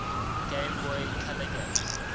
game boy color games